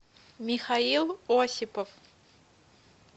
михаил осипов